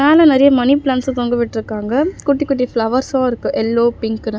மேல நெறைய மணி பிளான்ட்ஸ்ஸ தொங்க விட்ருக்காங்க குட்டி குட்டி ஃபிளவர்ஸ்ஸு இருக்கு எல்லோ பிங்குன்னு .